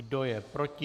Kdo je proti?